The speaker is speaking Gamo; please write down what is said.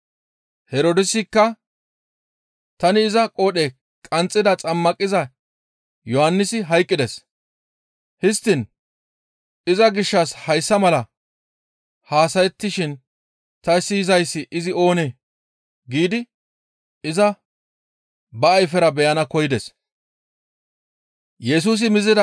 Herdoosikka, «Tani iza qoodhe qanxxida xammaqiza Yohannisi hayqqides. Histtiin iza gishshas hayssa mala haasayettishin ta siyizayssi izi oonee?» giidi iza ba ayfera beyana koyides.